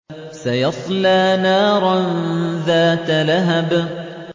سَيَصْلَىٰ نَارًا ذَاتَ لَهَبٍ